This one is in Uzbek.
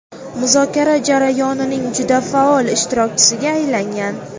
muzokara jarayonining juda faol ishtirokchisiga aylangan.